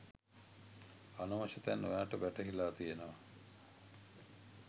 අනවශ්‍ය තැන් ඔයාට වැටහිලා තියෙනව